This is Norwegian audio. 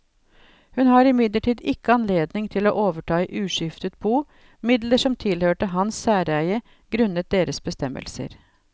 Hun har imidlertid ikke anledning til å overta i uskiftet bo midler som tilhørte hans særeie grunnet deres bestemmelser.